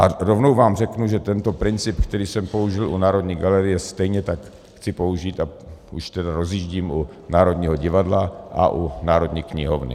A rovnou vám řeknu, že tento princip, který jsem použil u Národní galerie, stejně tak chci použít, a už tedy rozjíždím, u Národního divadla a u Národní knihovny.